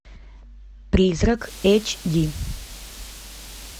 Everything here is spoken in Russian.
призрак эйч ди